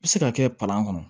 Bɛ se ka kɛ palan kɔnɔ